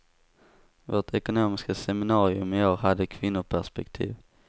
Vårt ekonomiska seminarium i år hade kvinnoperspektiv.